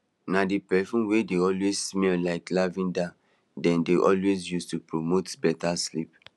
na d perfume wey dey always smell like lavender den dey always use to promote better sleep